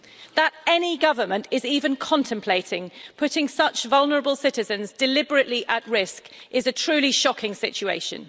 That any government is even contemplating putting such vulnerable citizens deliberately at risk is a truly shocking situation.